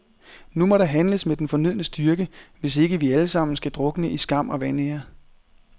Nu må der handles med den fornødne styrke, hvis ikke vi alle sammen skal drukne i skam og vanære.